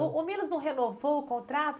O o Milos não renovou o contrato?